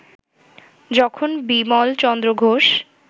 যখন বিমলচন্দ্র ঘোষ